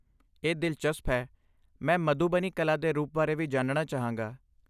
ਇਹ ਦਿਲਚਸਪ ਹੈ, ਮੈਂ ਮਧੂਬਨੀ ਕਲਾ ਦੇ ਰੂਪ ਬਾਰੇ ਵੀ ਜਾਨਣਾ ਚਾਹਾਂਗਾ।